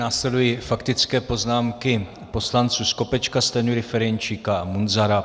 Následují faktické poznámky poslanců Skopečka, Stanjury, Ferjenčíka a Munzara.